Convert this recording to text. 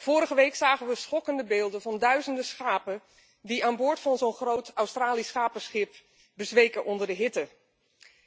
Vorige week zagen we schokkende beelden van duizenden schapen die aan boord van zo'n groot Australisch schapenschip bezweken onder de hitte,